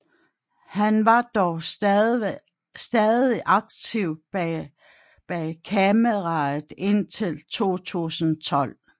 Han var dog stadig aktiv bag kameraet indtil 2012